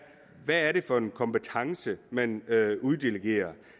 for en kompetence man uddelegerer